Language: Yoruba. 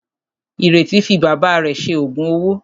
Ìrètí fi bàbá rẹ̀ ṣe òògùn owó.